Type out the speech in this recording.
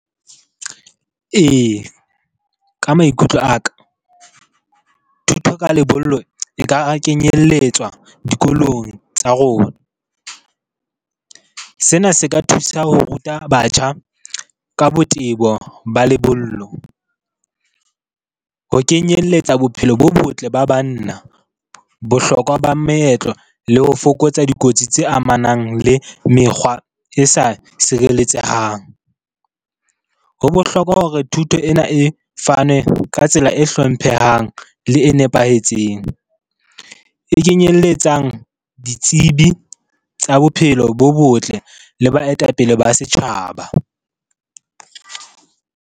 Ee, ka maikutlo a ka thuto ka lebollo e ka kenyelletswa dikolong tsa rona. Sena se ka thusa ho ruta batjha ka botebo ba lebollo. Ho kenyeletsa bophelo bo botle ba banna, bohlokwa ba meetlo le ho fokotsa dikotsi tse amanang le mekgwa e sa sireletsehang. Ho bohlokwa hore thuto ena e fane ka tsela e hlomphehang le e nepahetseng. E kenyelletsang ditsebi tsa bophelo bo botle le baetapele ba setjhaba.